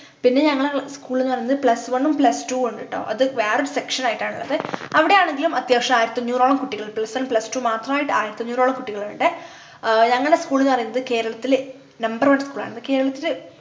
പിന്നെ ഞങ്ങളെ school ന്നു പറഞ്ഞത് plus one ഉം plus two ഉണ്ട് ട്ടോ അത് വേറെ section ആയിട്ടാണുള്ളത് അവിടെ ആണെങ്കിലും അത്യാവശ്യം ആയിരത്തി അഞ്ഞൂറോളം കുട്ടികളുണ്ട് plus one plus two മാത്രായിട്ട് ആയിരത്തി അഞ്ഞൂറോളം കുട്ടികളുണ്ട് ആഹ് ഞങ്ങളെ school ന്ന് പറയുന്നത് കേരളത്തിലെ number one school ആണ് കേരളത്തില്